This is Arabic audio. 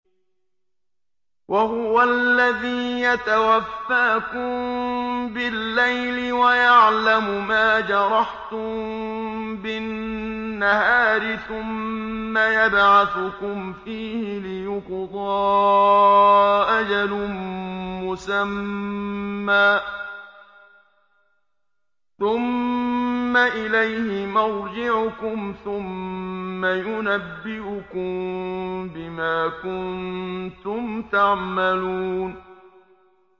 وَهُوَ الَّذِي يَتَوَفَّاكُم بِاللَّيْلِ وَيَعْلَمُ مَا جَرَحْتُم بِالنَّهَارِ ثُمَّ يَبْعَثُكُمْ فِيهِ لِيُقْضَىٰ أَجَلٌ مُّسَمًّى ۖ ثُمَّ إِلَيْهِ مَرْجِعُكُمْ ثُمَّ يُنَبِّئُكُم بِمَا كُنتُمْ تَعْمَلُونَ